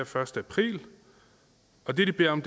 første april og det de beder om